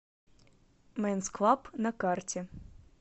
мэнс клаб на карте